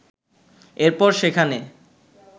এরপর সেখানে